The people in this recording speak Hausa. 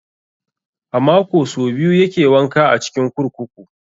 A mako so biyu yake wanka a cikin kurkuku.